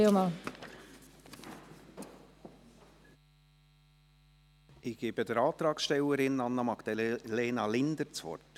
Ich gebe der Antragstellerin, Anna-Magdalena Linder, das Wort.